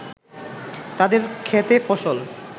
তাদের ক্ষেতে ফসল